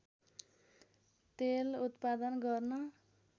तेल उत्पादन गर्न